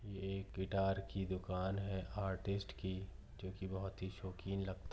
ये एक गिटार कि दुकान है आर्टिस्ट कि जो कि बहुत हि शौकीन लगता--